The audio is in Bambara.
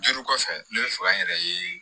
Duuru kɔfɛ ne bɛ fɛ ka n yɛrɛ ye